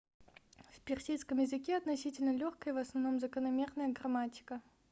в персидском языке относительно лёгкая и в основном закономерная грамматика